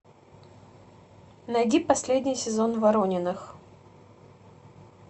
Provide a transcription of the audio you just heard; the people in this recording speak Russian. найди последний сезон ворониных